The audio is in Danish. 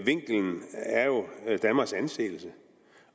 danmarks anseelse